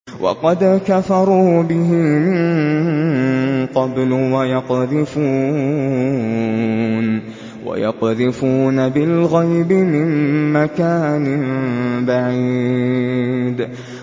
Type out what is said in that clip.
وَقَدْ كَفَرُوا بِهِ مِن قَبْلُ ۖ وَيَقْذِفُونَ بِالْغَيْبِ مِن مَّكَانٍ بَعِيدٍ